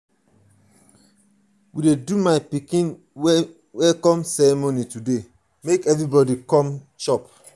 we dey do my pikin welcome ceremony today make everybody come.